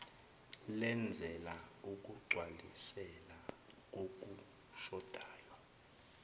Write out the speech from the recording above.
lenzela ukugcwalisela kokushodayo